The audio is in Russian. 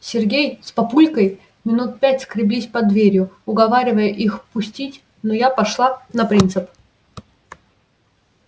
сергей с папулькой минут пять скреблись под дверью уговаривая их пустить но я пошла на принцип